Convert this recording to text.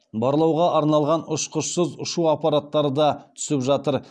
барлауға арналған ұшқышсыз ұшу аппараттары да түсіп жатыр